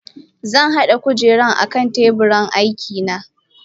Zanhada kujeran akan teburin aikina.